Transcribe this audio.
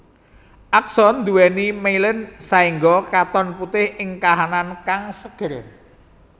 Akson nduwèni mielin saéngga katon putih ing kahanan kang seger